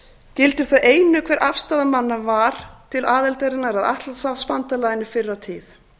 og gildir þá einu hver afstaða manna var til aðildarinnar að atlantshafsbandalaginu fyrr á tíð